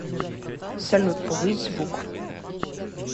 салют повысь звук